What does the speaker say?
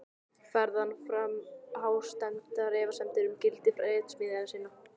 Færði hann fram hástemmdar efasemdir um gildi ritsmíða sinna.